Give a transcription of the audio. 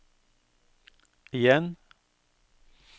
igjen